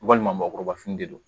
Walima mɔgɔkɔrɔba fini de don